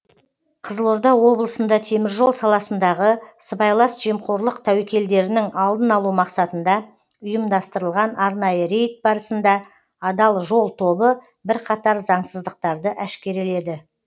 қызылорда облысында теміржол саласындағы сыбайлас жемқорлық тәуекелдерінің алдын алу мақсатында ұйымдастырылған арнайы рейд барысында адал жол тобы бірқатар заңсыздықтарды әшкереледі